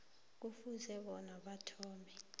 kufuze bona athome